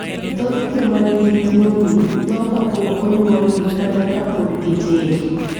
Thoth joma nigi tuwoni tho kapok onyuolgi kata ka pod gitindo.